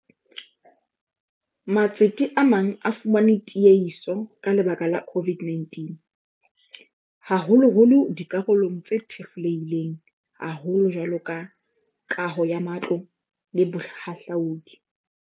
Matsete a mang a fumane tiehiso ka lebaka la COVID-19, haholoholo dikarolong tse thefulehileng haholo jwalo ka kaho ya matlo le bohahlaodi.